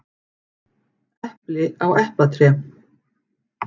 Epli á eplatré.